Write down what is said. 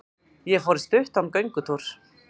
Ég fór í stuttan göngutúr.